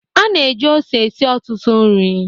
A na-eji ose esi ọtụtụ nri.